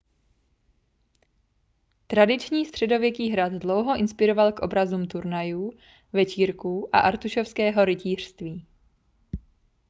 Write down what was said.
tradiční středověký hrad dlouho inspiroval k obrazům turnajů večírků a artušovského rytířství